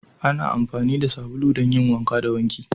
Ana amfani da sabulu don yin wanka da wanki